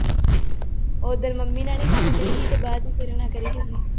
ਉਦਣ ਮੰਮੀ ਨਾਲ ਨੀਂ ਗੱਲ ਕਰੀ ਹੀ ਤੇ ਬਾਅਦ ਚ ਤੇਰੇ ਨਾਲ ਕਰੀ